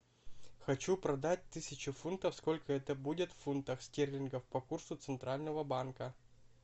хочу продать тысячу фунтов сколько это будет в фунтах стерлингов по курсу центрального банка